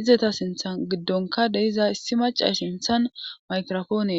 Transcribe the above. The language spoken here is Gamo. izeta sinthan giddonka deyiza issi maca sinthan mayrofooniee.